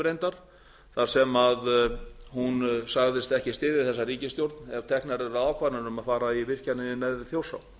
reyndar þar sem hún sagðist ekki styðja þessa ríkisstjórn ef teknar yrðu ákvarðanir um að fara í virkjanir í n ári þjórsá